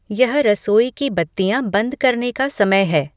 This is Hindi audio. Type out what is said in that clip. यह रसोई की बत्तियाँ बंद करने का समय है